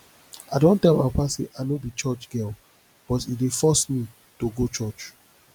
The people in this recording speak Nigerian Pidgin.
i don tell my papa say i no be church girl but e dey force me to go church